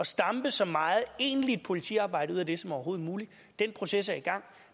stampe så meget egentlig politiarbejde ud af dem som overhovedet muligt den proces er i gang